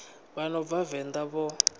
vha no bva venḓa vho